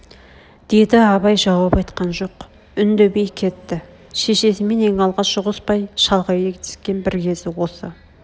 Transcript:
деді абай жауап айтқан жоқ үндемей кетті шешесімен ең алғаш ұғыспай шалғай кетіскен бір кез осы